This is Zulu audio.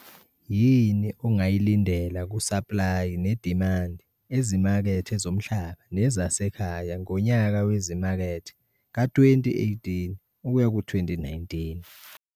YINI ONGAYILINDELA KU-SAPLAYI NEDIMANDI EZIMAKETHE ZOMHLABA NEZASEKHAYA NGONYAKA WEZIMAKETHE KA-2018 kuyaku 2019?